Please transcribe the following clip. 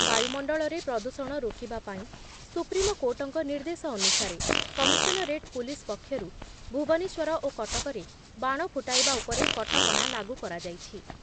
ବାୟୁମଣ୍ଡଳରେ ପ୍ରଦୂଷଣ ରୋକିବା ପାଇଁ ସୁପ୍ରିମକୋର୍ଟଙ୍କ ନିର୍ଦ୍ଦେଶ ଅନୁସାରେ କମିଶନରେଟ୍ ପୁଲିସ୍ ପକ୍ଷରୁ ଭୁବନେଶ୍ବର ଓ କଟକରେ ବାଣ ଫୁଟାଇବା ଉପରେ କଟକଣା ଲାଗୁ କରାଯାଇଛି ।